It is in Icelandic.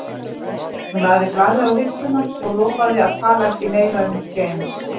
Hún lagði blaðið á hilluna og lofaði að tala ekki meira um James